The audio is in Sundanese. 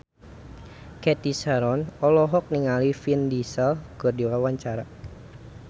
Cathy Sharon olohok ningali Vin Diesel keur diwawancara